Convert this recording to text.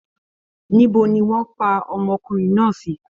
Níbo ni wọ́n pa ọmọkùnrin náà sì?